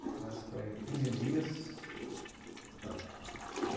Então, essa foi quinze dias, não, fo